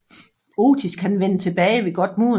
Otis kan vende tilbage ved godt mod